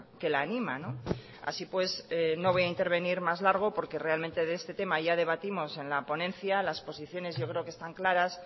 que la anima así pues no voy a intervenir más largo porque realmente de este tema ya debatimos en la ponencia las posiciones yo creo que están claras